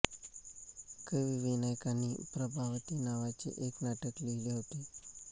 कवी विनायकांनी प्रभावती नावाचे एक नाटक लिहिले होते